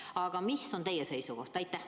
Aga mis on teie seisukoht?